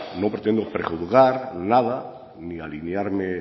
no pretendo prejuzgar nada ni aliviarme